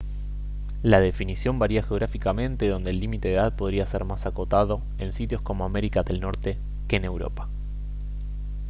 la definición varía geográficamente donde el límite de edad podría ser más acotado en sitios como américa del norte que en europa